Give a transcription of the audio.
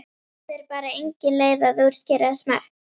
Það er bara engin leið að útskýra smekk.